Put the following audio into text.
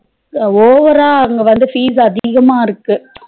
Over ரா அங்க வந்து fees அதிகமா இருக்கு